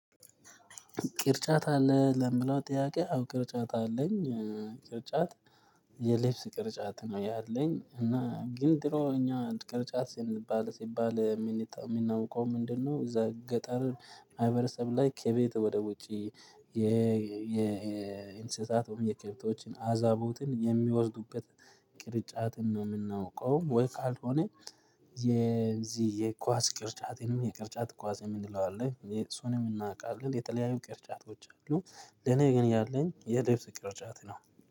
ቅርጫት አለህ ለሚለው ጥያቄ አዎ ቅርጫት አለኝ ቅርጫት የልብስ ቅርጫት ነው ያለኝ እና ግን ጥሎ እኛ ቅርጫት ሲባል ሲባል የምናውቀው ምንድነው? እዛ ገጠር ማህበረሰብ ላይ ከቤት ወደ ውጪ የእንስሳት ወይም የከብቶችን አዛቦትን የሚወስዱበት ቅርጫትን ነው የምናውቀው ወይ? ካልሆነ የዚህ የኳስ ቅርጫቴንም የቅርጫት ኳስ የምንለው አለ የእሱንም እናውቃለን የተለያዩ ቅርጫቶች አሉ። ለኔ ግን ያለኝ የልብስ ቅርጫት ነው